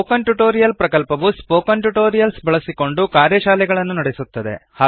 spoken tutorial ಪ್ರಕಲ್ಪವು spoken tutorials ಬಳಸಿಕೊಂಡು ಕಾರ್ಯಶಾಲೆಗಳನ್ನು ನಡೆಸುತ್ತದೆ